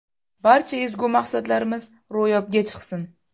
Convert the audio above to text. Barcha ezgu maqsadlarimiz ro‘yobga chiqsin!